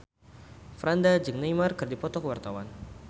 Franda jeung Neymar keur dipoto ku wartawan